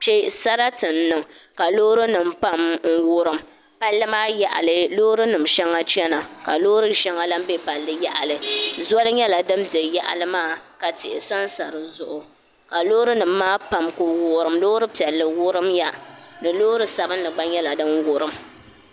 Kpɛ sarati n niŋ ka loori nim pam wurim palli maa yaɣali Loori nim shɛŋa chɛna ka loori shɛŋa lahi bɛ palli yaɣali zoli nyɛla din bɛ yaɣali maa ka tihi sansa dizuɣu ka loori nim maa pam ku wurim loori piɛlli wurimya ka loori sabinli gba nyɛ din wurim